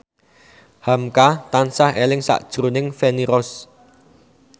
hamka tansah eling sakjroning Feni Rose